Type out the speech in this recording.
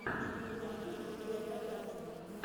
ты найдешь у себя биографию